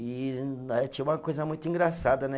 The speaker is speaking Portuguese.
E né, tinha uma coisa muito engraçada, né?